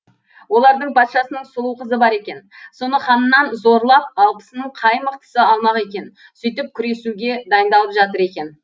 олардың патшасының сұлу қызы бар екен соны ханнан зорлап алпысының қай мықтысы алмақ екен сөйтіп күресуге дайындалып жатыр екен